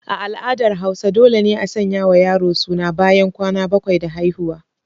A al'adar hausa dole ne a sanya wa yaro suna ɓayan kwana bakwai da haihuwa.